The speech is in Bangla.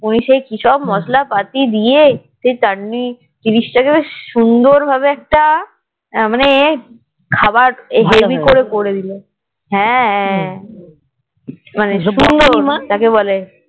ওই সেই কিসব মসলা পাতি দিয়ে সেই তান্নি জিনিস তা কে সুন্দর ভাবে একটা মানে খাবার হেবি করে করেদিল হ্যাঁ মানে সুন্দর যাকে বলে